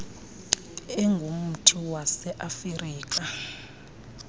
engumthi wase afirika